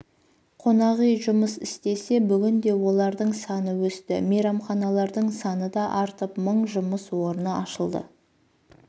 қонақүй жұмыс істесе бүгінде олардың саны өсті мейрамханалардың саны да артып мың жұмыс орны ашылды